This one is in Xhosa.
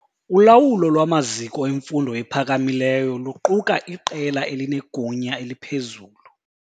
Ulawulo lwamaziko emfundo ephakamileyo luquka iqela elinegunya eliphezulu.